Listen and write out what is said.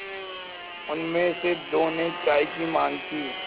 उनमें से दो ने चाय की माँग की